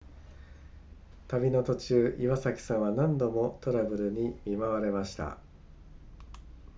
旅の途中岩崎さんは何度もトラブルに見舞われました